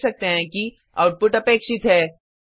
हम देख सकते हैं कि आउटपुट अपेक्षित है